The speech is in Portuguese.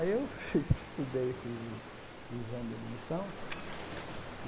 Aí eu fiz estudei e fiz o exame de admissão.